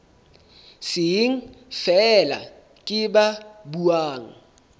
seng feela ke ba buang